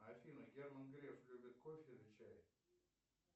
афина герман греф любит кофе или чай